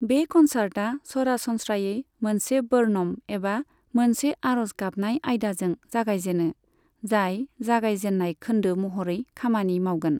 बे कन्सार्टआ सरासनस्रायै मोनसे वर्नम एबा मोनसे आरज गाबनाय आयदाजों जागायजेनो, जाय जागायजेननाय खौन्दो महरै खामानि मावगोन।